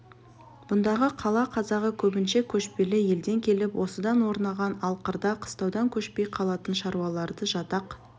бұндағы қала қазағы көбінше көшпелі елден келіп осында орнаған ал қырда қыстаудан көшпей қалатын шаруаларды жатақ